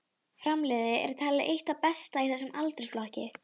Fram-liðið er talið eitt það besta í þessum aldursflokki.